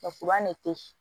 ne tɛ